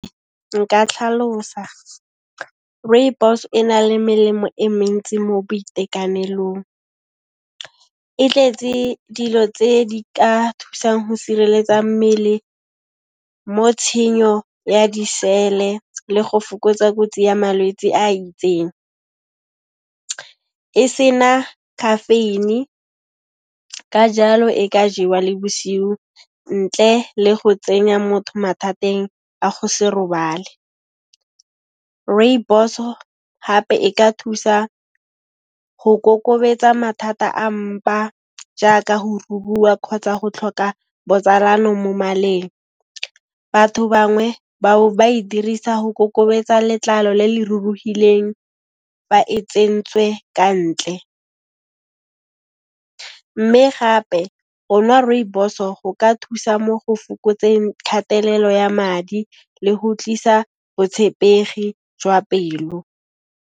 Nka tlhalosa. Rooibos e na le melemo e mentsi mo boitekanelong, e tletse dilo tse di ka thusang ho sireletsa mmele mo tshenyo ya disele le go fokotsa kotsi ya malwetse a itseng, e sena caffeine ka jalo e ka jewa le bosiu ntle le go tsenya motho mathateng a go se robale. Rooibos-o hape e ka thusa go kokobetsa mathata a mpa jaaka ho rurua kgotsa go tlhoka botsalano mo maleng. Batho bangwe ba bo ba e dirisa go kokobetsa letlalo le le ruruhileng fa e tsentswe ka ntle, mme gape go nwa Rooibos-o go ka thusa mo go fokotseng kgatelelo ya madi le go tlisa botshepegi jwa pelo.